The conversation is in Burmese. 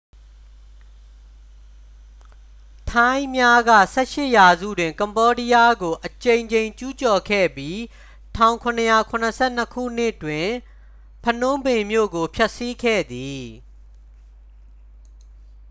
ထိုင်းများက 18 ရာစုတွင် ကမ္ဘောဒီးယားကို အကြိမ်ကြိမ် ကျူးကျော်ခဲ့ပြီး 1772 ခုနှစ်တွင် ဖနွန်ပင်မြို့ကို ဖျက်ဆီးခဲ့သည်